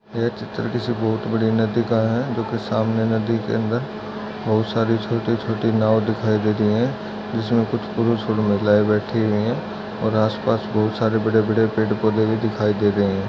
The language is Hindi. यह चित्र किसी बहुत बड़ी नदी का है जोकि सामने नदी के अंदर बहुत सारी छोटी छोटी नाव दिखाई दे रही है जिसमे कुछ पुरुष और महिलाए बैठी हुई है और आस पास बहुत सारे बड़े बड़े पेड़ पौधे भी दिखाई दे रहे है।